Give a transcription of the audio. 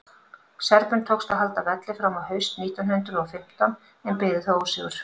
serbum tókst að halda velli fram á haust nítján hundrað og fimmtán en biðu þá ósigur